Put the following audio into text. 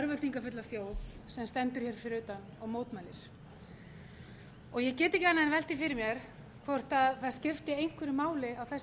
örvæntingarfulla þjóð sem stendur hér fyrir utan og mótmælir ég get ekki annað en velt því fyrir mér hvort það skipti einhverju máli á þessari stundu